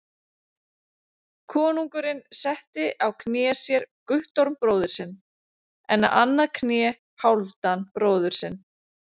Konungurinn setti á kné sér Guttorm bróður sinn, en á annað kné Hálfdan bróður sinn.